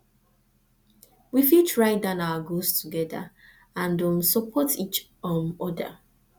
we fit write down our goals together and um support each um other